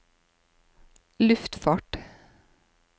luftfart